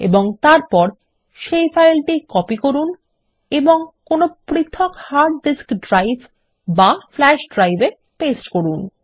এবং তারপর সেই ফাইলটি কপি করুন এবং কোনো পৃথক হার্ড ডিস্ক ড্রাইভ বা ফ্ল্যাশ ড্রাইভে পেস্ট করুন